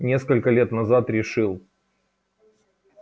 несколько лет назад решил